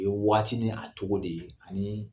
O ye waati ni a cogo de ye anii